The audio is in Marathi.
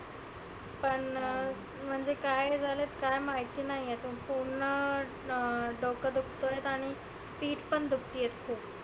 पण म्हणजे काय झालं काय माहिती नाही. पुर्ण डोकं दुखत आणि पीट पण दुखती आहे खुप.